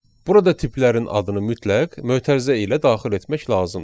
Burada tiplərin adını mütləq mötərizə ilə daxil etmək lazımdır.